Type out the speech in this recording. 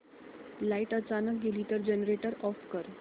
light अचानक गेली तर जनरेटर ऑफ कर